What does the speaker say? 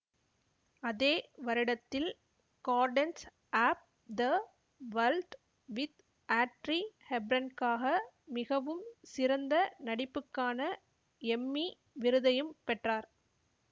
அதே வருடத்தில் gardens of the world with Audrey ஹெப்பர்ன்காக மிகவும் சிறந்த நடிப்புக்கான எம்மி விருதையும் பெற்றார்